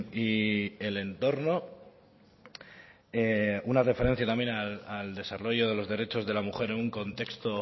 y el entorno una referencia también al desarrollo de los derechos de la mujer en un contexto